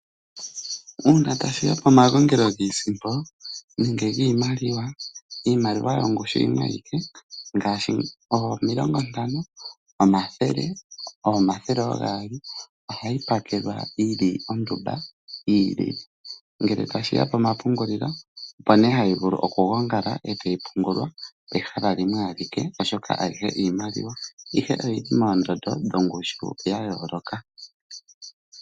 Uuna tashi ya pomagongelo giisimpo nenge giimaliwa, iimaliwa yongushu yimwe ayike ngaashi omilongontano, omathele oogaali ohayi pakelwa yi li ondumba yi ilile. Ngele tashi ya pomapungulilo opo nee hayi vulu okugongala e tayi pungulwa pehala limwe alike, oshoka ayihe iimaliwa ashike oyi li moondondo dhongushu ya yooloka.